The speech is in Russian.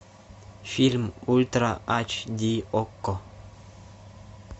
фильм ультра ач ди окко